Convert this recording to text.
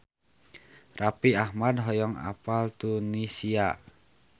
Raffi Ahmad hoyong apal Tunisia